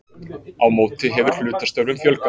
Á móti hefur hlutastörfum fjölgað